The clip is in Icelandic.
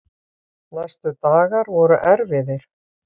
Næstu dagar voru erfiðir.